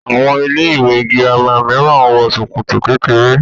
Àwọn ilé-ìwé girama mìíràn ń wọ ṣòkòtò kékeré.